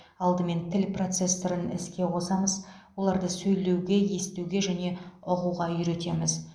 алдымен тіл процессорын іске қосамыз оларды сөйлеуге естуге және ұғуға үйретеміз